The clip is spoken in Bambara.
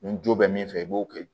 Ni jo bɛ min fɛ i b'o kɛ